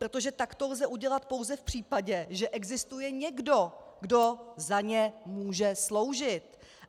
Protože tak to lze udělat pouze v případě, že existuje někdo, kdo za ně může sloužit.